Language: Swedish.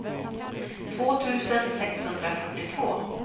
två tusen sexhundrafyrtiotvå